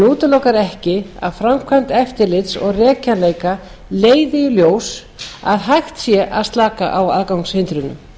útilokar ekki að framkvæmd eftirlits og rekjanleika leiði í ljós að hægt sé að slaka á aðgangshindrunum